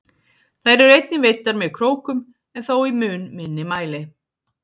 Þær eru einnig veiddar með krókum en þó í mun minni mæli.